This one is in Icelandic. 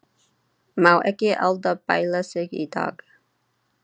Má ekki Alda bæla sig í dag.